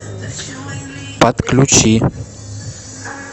отключи